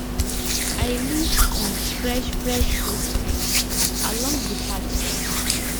i leave um fresh fresh footprints along the path today